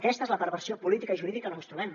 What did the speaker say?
aquesta és la perversió política i jurídica on ens trobem